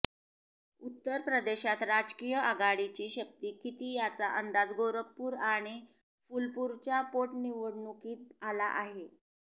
उत्तर प्रदेशात राजकीय आघाडीची शक्ती किती याचा अंदाज गोरखपूर आणि फुलपूरच्या पोटनिवडणुकीतून आला आहे